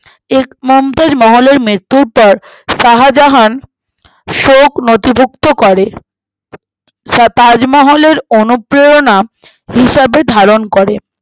এর মমতাজ মহলের মৃত্যুর পর শাহাজান শোক নথিভুক্ত করেন সঃ তাজমহলের অনুপ্রেরণা হিসাবে ধারণ করে